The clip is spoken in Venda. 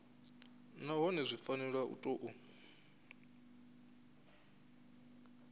nahone zwi fanela u tou